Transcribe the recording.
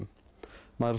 maður er